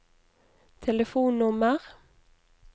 telefonnummer